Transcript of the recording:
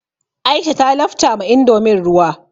Aisha ta lafta ma indomin ruwa.